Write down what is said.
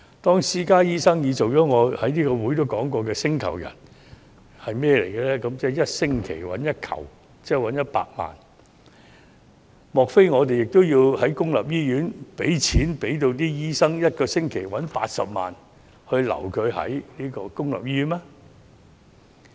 當私家醫生已成為我在此曾提及的"星球人"，即1星期賺取 "1 球"，莫非我們也要讓公營醫院的醫生1星期賺取80萬元，以挽留他們嗎？